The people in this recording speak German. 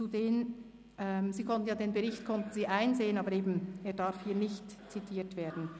Wie gesagt darf der Bericht – Sie konnten diesen ja einsehen – hier nicht zitiert werden.